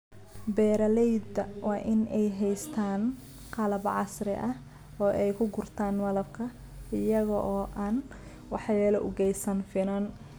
Beeralayda waa in ay haystaan ??qalab casri ah oo ay ku gurtaan malabka iyaga oo aan waxyeello u geysan finan.